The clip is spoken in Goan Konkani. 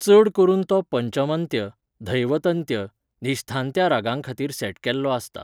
चड करून तो पंचमंत्य, धैवतन्त्य, निश्धान्त्या रागांखातीर सेट केल्लो आसता.